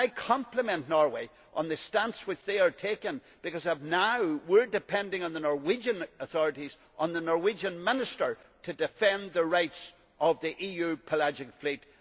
I compliment Norway on the stance which they have taken because, as it stands, we are relying on the Norwegian authorities on the Norwegian Minister to defend the rights of the EU pelagic fleet.